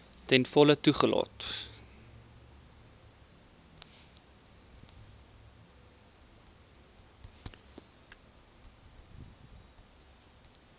ten volle toegelaat